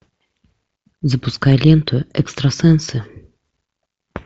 запускай ленту экстрасенсы